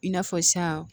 I n'a fɔ sisan